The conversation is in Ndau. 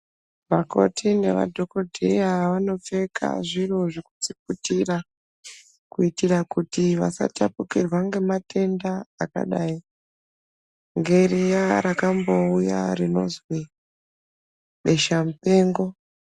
Vakoti nemadhokodheya vanopfeka zviro zvekudziputira kuitira kuti vasa tapukirwa ngematenda rakadai ngeriya rakambouya rinozwi besha mupengo.